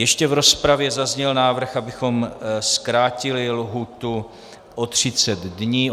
Ještě v rozpravě zazněl návrh, abychom zkrátili lhůtu o 30 dní.